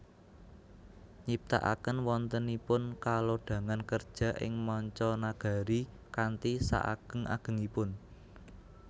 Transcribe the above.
Nyiptakaken wontenipun kalodhangan kerja ing manca nagari kanthi sak ageng agengipun